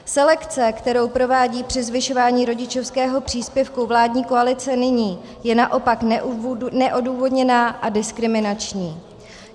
Selekce, kterou provádí při zvyšování rodičovského příspěvku vládní koalice nyní, je naopak neodůvodněná a diskriminační.